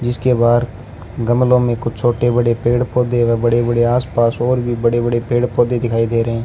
जिसके बाहर गमलों में कुछ छोटे बड़े पेड़ पौधे व बड़े बड़े आसपास और भी बड़े बड़े पेड़ पौधे दिखाई दे रहें --